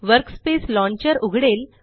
workspace launcher उघडेल